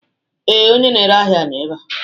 Ee, onye na-ere ahịa nọ ebe a